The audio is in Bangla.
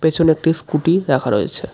পেছনে একটি স্কুটি রাখা রয়েছে।